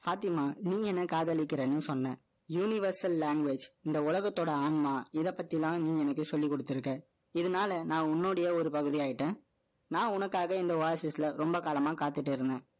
பாத்திமா, நீங்க என்னை காதலிக்கிறேன்னு சொன்னேன். Universal language, இந்த உலகத்தோட ஆன்மா, இதைப்பத்திதான், நீ எனக்கு சொல்லிக் குடுத்திருக்க. இதனால, நான் உன்னுடைய ஒரு பகுதி ஆயிட்டேன் நான் உனக்காக, இந்த Oasis ல, ரொம்ப காலமா, காத்துட்டு இருந்தேன்.